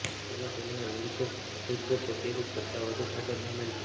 તેમાં તેમના વધુ શુદ્ધ પ્રતિરૂપ કરતાં વધુ ફાઇબર શામેલ છે